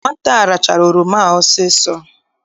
Nwata a rachaa oroma ahụ ọsọ ọsọ!